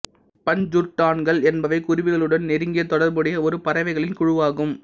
பஞ்சுருட்டான்கள் என்பவை குருவிகளுடன் நெருங்கிய தொடர்புடைய ஒரு பறவைகளின் குழுவாகும்